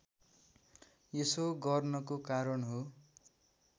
यसो गर्नको कारण हो